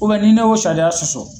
Ubɛn ni ne y'o sariya sɔsɔ